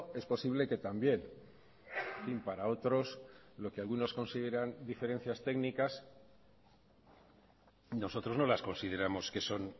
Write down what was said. es posible que también y para otros lo que algunos consideran diferencias técnicas nosotros no las consideramos que son